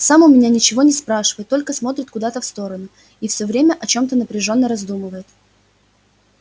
сам у меня ничего не спрашивает только смотрит куда-то в сторону и все время о чем-то напряжённо раздумывает